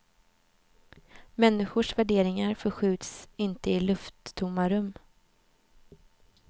Människors värderingar förskjuts inte i lufttomma rum.